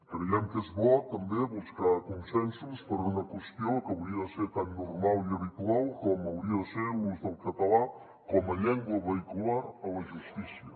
creiem que és bo també buscar consensos per una qüestió que hauria de ser tan normal i habitual com hauria de ser l’ús del català com a llengua vehicular a la justícia